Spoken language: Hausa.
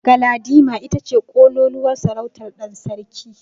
Galadima ita ce ƙololuwar sarautar ɗan sarki.